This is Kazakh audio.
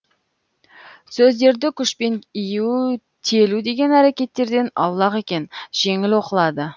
сөздерді күшпен иію телу деген әрекеттерден аулақ екен жеңіл оқылады